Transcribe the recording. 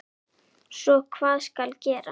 Svo hvað skal gera?